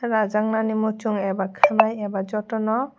rajak nai moshong aba kelai aba jotono.